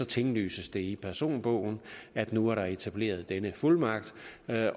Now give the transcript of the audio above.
tinglyses det i personbogen at nu er der etableret denne fuldmagt